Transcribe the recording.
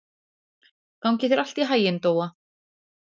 Gangi þér allt í haginn, Dóa.